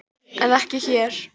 En ekki hér!